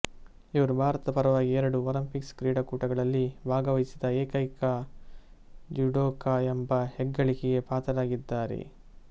ಇವರು ಭಾರತದ ಪರವಾಗಿ ಎರಡು ಒಲಿಂಪಿಕ್ ಕ್ರೀಡಾಕೂಟಗಳಲ್ಲಿ ಭಾಗವಹಿಸಿದ ಏಕೈಕ ಜುಡೋಕ ಎಂಬ ಹೆಗ್ಗಳಿಕೆಗೆ ಪಾತ್ರರಾಗಿದ್ದಾರೆ